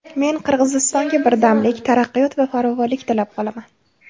Men Qirg‘izistonga birdamlik, taraqqiyot va farovonlik tilab qolaman!”